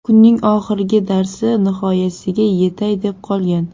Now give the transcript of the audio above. Kunning oxirgi darsi nihoyasiga yetay deb qolgan.